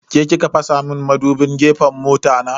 Ke ki ka fasa mun madubin gefen mota na?